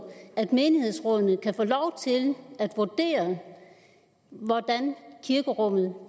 at menighedsrådene kan få lov til at vurdere hvordan kirkerummet